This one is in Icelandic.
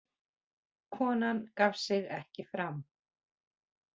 Konan gaf sig ekki fram